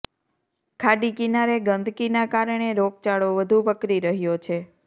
ખાડી કિનારે ગંદકીના કારણે રોગચાળો વધુ વકરી રહ્યો છે